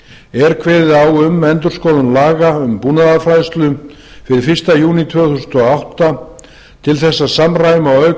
er kveðið á um endurskoðun laga um búnaðarfræðslu fyrir fyrsta júní tvö þúsund og átta til en að samræma og auka